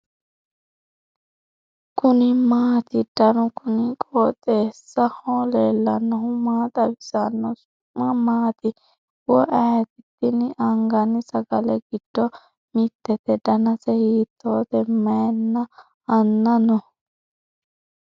kuni maati ? danu kuni qooxeessaho leellannohu maa xawisanno su'mu maati woy ayeti ? tini anganni sagale giddo mittete . danase hiitoote may anna no ?